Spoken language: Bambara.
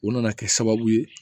U nana kɛ sababu ye